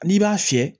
N'i b'a fiyɛ